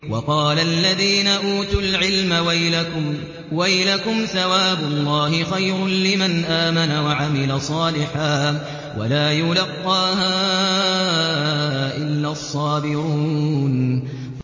وَقَالَ الَّذِينَ أُوتُوا الْعِلْمَ وَيْلَكُمْ ثَوَابُ اللَّهِ خَيْرٌ لِّمَنْ آمَنَ وَعَمِلَ صَالِحًا وَلَا يُلَقَّاهَا إِلَّا الصَّابِرُونَ